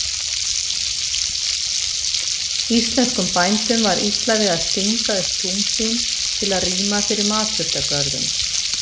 Íslenskum bændum var illa við að stinga upp tún sín til að rýma fyrir matjurtagörðum.